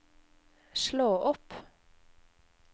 slå opp